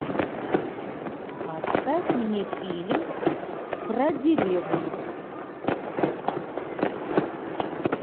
поставь мне фильм про деревню